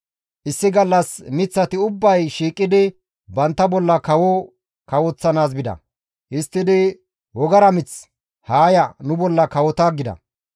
Issi gallas miththati ubbay shiiqidi bantta bolla kawo kawoththanaas bida; histtidi wogara mith, ‹Haa ya, nu bolla kawota› gida.